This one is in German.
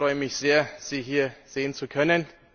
Ich freue mich sehr, Sie hier sehen zu können!